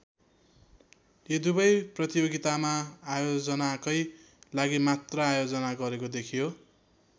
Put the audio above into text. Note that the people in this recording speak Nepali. यी दुवै प्रतियोगितामा आयोजनाकै लागि मात्र आयोजना गरेको देखियो।